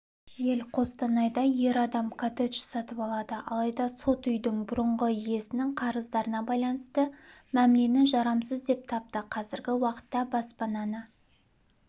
жел қостанайда ер адам коттедж сатып алады алайда сот үйдің бұрынғы иесінің қарыздарына байланысты мәмлені жарамсыз деп тапты қазіргі уақытта баспананы